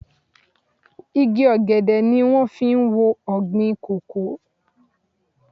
Igi ọ̀gẹ̀dẹ̀ ni wón fi ń wo ọ̀gbìn kòkó.